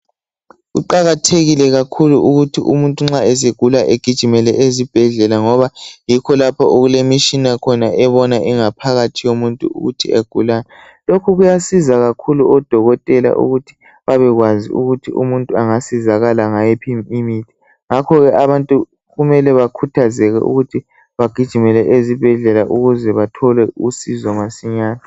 Kuqakathekile kakhulu ukuthi umuntu nxa esegula egijimele ezibhedlela ngoba yikho lapho okulemitshina khona ebona ingaphakathi yomuntu ukuthi egulani .Lokhu kuyasiza kakhulu udokotela ukuthi abekwazi ukuthi umuntu angasizakala ngayiphi imithi ngakho ke abantu kumele bakhuthazeke ukuthi bagijimele ezibhedlela ukuze bathole usizo masinyane.